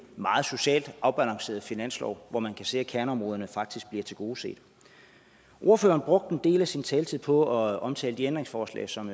meget socialt afbalanceret finanslov hvor man kan se at kerneområderne faktisk bliver tilgodeset ordføreren brugte en del af sin taletid på at omtale de ændringsforslag som